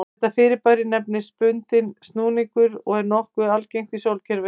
Þetta fyrirbæri nefnist bundinn snúningur og er nokkuð algengt í sólkerfinu.